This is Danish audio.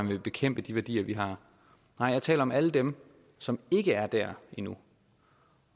ville bekæmpe de værdier vi har nej jeg taler om alle dem som ikke er dér endnu